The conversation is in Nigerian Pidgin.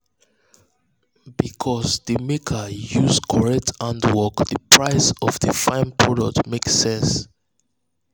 because the maker use the maker use correct handwork the price of the fine product make sense.